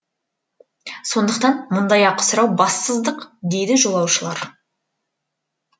сондықтан мұндай ақы сұрау бассыздық дейді жолаушылар